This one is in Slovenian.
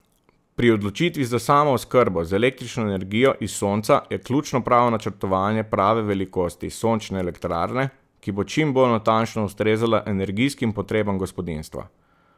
Pri odločitvi za samooskrbo z električno energijo iz sonca je ključno prav načrtovanje prave velikosti sončne elektrarne, ki bo čim bolj natančno ustrezala energijskim potrebam gospodinjstva.